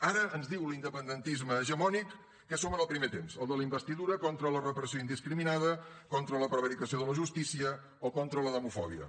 ara ens diu l’independentisme hegemònic que som en el primer temps el de la investidura contra la repressió indiscriminada contra la prevaricació de la justícia o contra la demofòbia